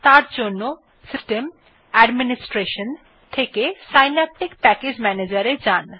তার জন্য system গ্টাডমিনিস্ট্রেশন থেকে সিন্যাপটিক প্যাকেজ ম্যানেজের এ যান